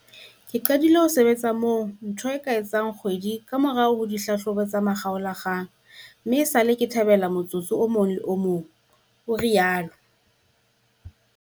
"Ke qadile ho sebetsa moo ntho e ka etsang kgwedi kamora ditlhahlobo tsa makgaolakgang mme esale ke thabela motsotso o mong le o mong," o rialo.